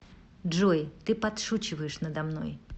джой ты подшучиваешь надо мной